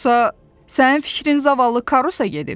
Yoxsa sənin fikrin zavallı Karusa gedib?